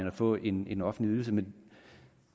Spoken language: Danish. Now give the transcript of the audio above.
at få en en offentlig ydelse men